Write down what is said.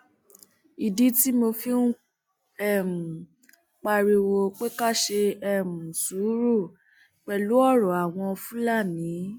ìdí tí mo fi ń um pariwo pé ká ṣe um sùúrù pẹlú ọrọ àwọn fúlàní